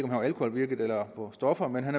var alkoholpåvirket eller på stoffer men han